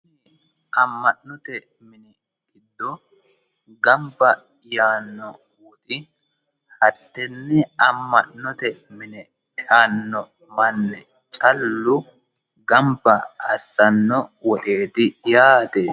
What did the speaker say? AManote mini giddo ganba yaanori addini amanote mine eano manni callu ganba assano woxeeti yaate